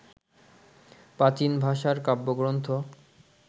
প্রাচীন ভাষার কাব্যগ্রন্থ